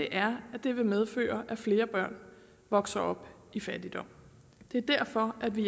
er at det vil medføre at flere børn vokser op i fattigdom det er derfor at vi